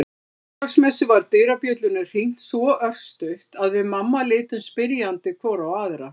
Á Þorláksmessu var dyrabjöllunni hringt svo örstutt að við mamma litum spyrjandi hvor á aðra.